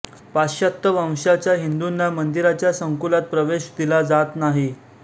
पाश्चात्य वंशाच्या हिंदूंना मंदिराच्या संकुलात प्रवेश दिला जात नाही